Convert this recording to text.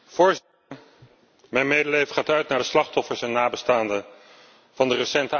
Mijn medeleven gaat uit naar de slachtoffers en nabestaanden van de recente aanslagen in Brussel.